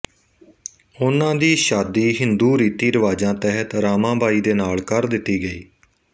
ਉਨਾਂ ਦੀ ਛਾਦੀ ਹਿੰਦੂ ਰੀਤੀ ਰਿਵਾਜ਼ਾਂ ਤਹਿਤ ਰਾਮਾਂਬਾਈ ਦੇ ਨਾਲ ਕਰ ਦਿੱਤੀ ਗਈ